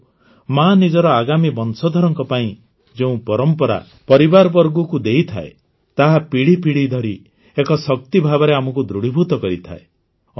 କିନ୍ତୁ ମା ନିଜର ଆଗାମୀ ବଂଶଧରଙ୍କ ପାଇଁ ଯେଉଁ ପରମ୍ପରା ପରିବାରବର୍ଗଙ୍କୁ ଦେଇଥାଏ ତାହା ପିଢ଼ି ପିଢ଼ି ଧରି ଏକ ଶକ୍ତି ଭାବରେ ଆମକୁ ଦୃଢ଼ୀଭୂତ କରିଥାଏ